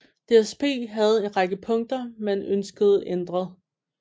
DSB havde en række punkter man ønskede ændret